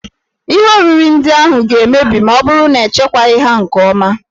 Ihe oriri ndị ahụ ga-emebi ma ọ bụrụ na echekwaghị ha nke ọma.